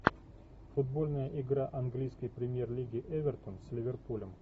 футбольная игра английской премьер лиги эвертон с ливерпулем